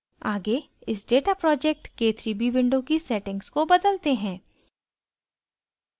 आगे इस data project – k3b window की settings को बदलते हैं